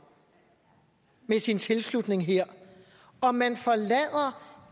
med sin tilslutning her og man forlader